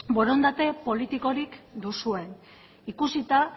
borondate politikorik duzuen ikusita